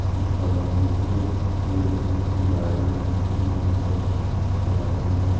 ई colony के field ह। इ गार्डन यहाँ सब टेह ले ला।